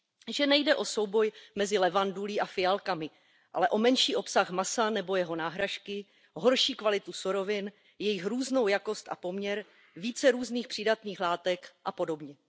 Že nejde o souboj mezi levandulí a fialkami, ale o menší obsah masa nebo jeho náhražky, horší kvalitu surovin, jejich různou jakost a poměr, více různých přídatných látek a podobně.